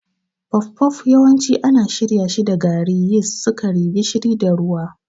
Puff-puff yawanci ana shirya shi da gari, yist, sukari, gishiri, da ruwa.